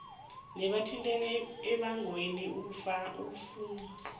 nabathinteka embangweni ukufuma